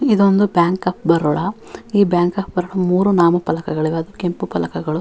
ಇದೊಂದು Bank of Baroda ಈ Bank of Baroda ಮೂರು ನಾಮಫಲಕಗಳಿವೆ ಅದು ಕೆಂಪು ಫಲಕಗಳು --